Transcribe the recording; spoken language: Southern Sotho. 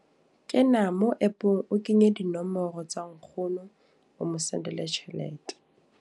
Ke na mo app-ng, o kenye dinomoro tsa nkgono. O mo sendele tjhelete.